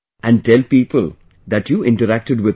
And tell people that you interacted with me